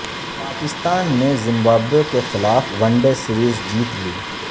پاکستان نے زمبابوے کے خلاف ون ڈے سیریز جیت لی